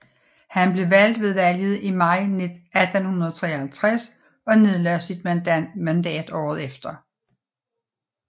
Han blev valgt ved valget i maj 1853 og nedlagde sit mandat året efter